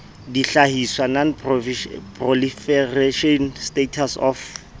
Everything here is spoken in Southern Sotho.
dihlahiswa non proliferation status of